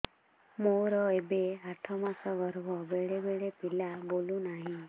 ମୋର ଏବେ ଆଠ ମାସ ଗର୍ଭ ବେଳେ ବେଳେ ପିଲା ବୁଲୁ ନାହିଁ